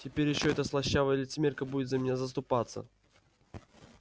теперь ещё эта слащавая лицемерка будет за меня заступаться